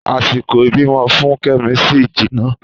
Àsìkò ìbímọ fún Kẹ́mi ṣì jìnà